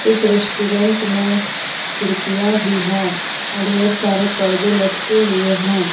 इस रेस्टोरेंट में खिड़कियाँ भी हैं और ढेर सारे परदे लटके हुए हैं।